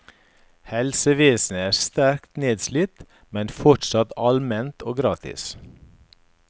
Helsevesenet er sterkt nedslitt, men fortsatt allment og gratis.